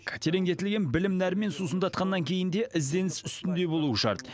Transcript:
тереңдетілген білім нәрімен сусындатқаннан кейін де ізденіс үстінде болуы шарт